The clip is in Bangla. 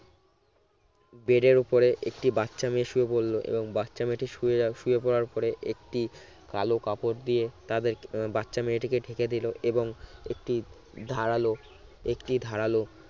bed এর উপরে একটি বাচ্চা মেয়ে শুয়ে পড়লো এবং বাচ্চা মেয়েটি শুয়ে শুয়ে পড়ার পরে একটি কালো কাপড় দিয়ে তাদেরকে বাচ্চা মেয়েটিকে ঢেকে দিল এবং একটি ধারালো একটি ধারালো